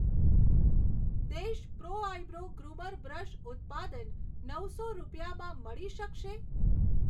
દેશ pro eyebrow groomer brush ઉત્પાદન નવસો રૂપિયામાં મળી શકશે?